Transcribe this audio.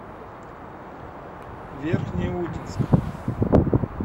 верхнеудинск